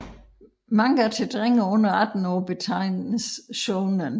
Manga til drenge under 18 år betegnes shounen